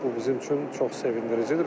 Bu bizim üçün çox sevindiricidir.